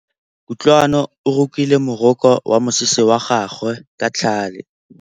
Kutlwanô o rokile morokô wa mosese wa gagwe ka tlhale.